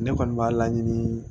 Ne kɔni b'a laɲini